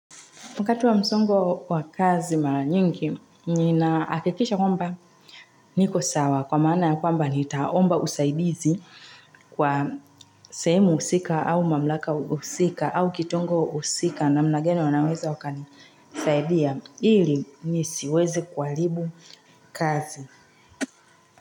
Wakati wa msongo wa kazi mara nyingi, ninahakikisha kwamba niko sawa kwa maana ya kwamba nitaomba usaidizi kwa sehemu husika au mamlaka husika au kitongo husika namna gani wanaweza wakanisaidia ili nisiweze kuaribu kazi.